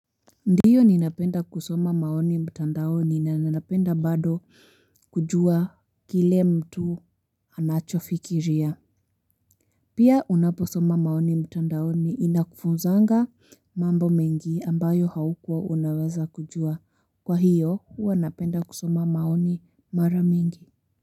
Ndiyo ninapenda kusoma maoni mtandaoni na ninapenda bado kujua kile mtu anachofikiria. Pia unaposoma maoni mtandaoni inakufunzanga mambo mengi ambayo haukuwa unaweza kujua. Kwa hiyo huwa napenda kusoma maoni mara mingi.